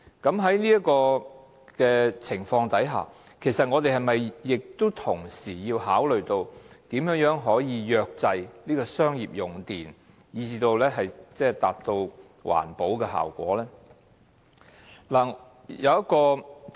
在這情況下，我們是否同時要考慮如何約制商業用戶的用電量以達到環保效果？